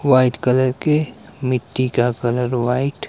white colour की मिट्टी का कलर व्हाइट --